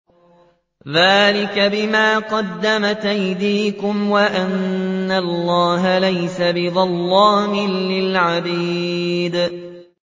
ذَٰلِكَ بِمَا قَدَّمَتْ أَيْدِيكُمْ وَأَنَّ اللَّهَ لَيْسَ بِظَلَّامٍ لِّلْعَبِيدِ